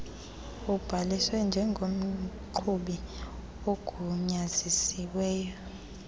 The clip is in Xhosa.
ubhaliswe njengomqhubi ogunyaziselwe